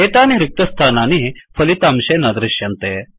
एतानि रिक्तस्थानानि फलितांशे न दृश्यन्ते